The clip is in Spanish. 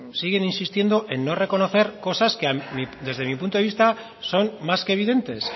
siguen insistiendo en no reconocer cosas que desde mi punto de vista son más que evidentes